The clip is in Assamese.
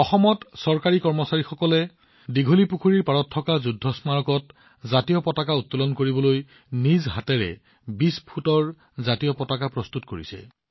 অসমত চৰকাৰী কৰ্মচাৰীসকলে দিঘলীপুখুৰী যুদ্ধ স্মাৰকত ত্ৰিৰংগা উত্তোলন কৰিবলৈ হাতেৰে ২০ ফুট ত্ৰিৰংগা প্ৰস্তুত কৰিছিল